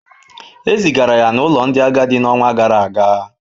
E zigara ya n’ụlọ ndị agadi n’ọnwa gara aga.